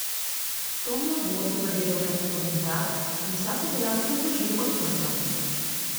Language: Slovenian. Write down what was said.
Tom je v dvorcu zagledal več vhodnih vrat in vsa so bila kljub dežju odprta.